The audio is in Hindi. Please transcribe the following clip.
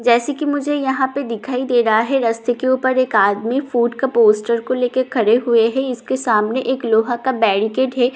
जैसे कि मुझें यहां पे दिखाई दे रहा है रास्ते के ऊपर एक आदमी फ़ूड का पोस्टर को लेके खड़े हुए है इसके सामने एक लोहा का बैरीकेड है पीछे एक--